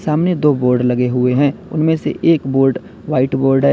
सामने दो बोर्ड लगे हुए हैं उनमें से एक बोर्ड व्हाइट बोर्ड है।